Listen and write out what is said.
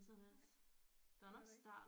Nej det var der ikke